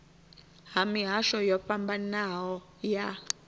ha mihasho yo fhambanaho ya